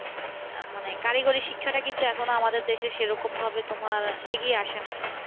আহ মানে কারিগরী শিক্ষাটা কিন্তু এখনও আমাদের দেশে সেরকমভাবে তোমার এগিয়ে আসে নাই।